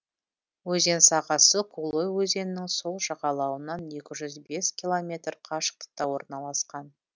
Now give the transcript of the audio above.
өзен сағасы кулой өзенінің сол жағалауынан екі жүз бес километр қашықтықта орналасқан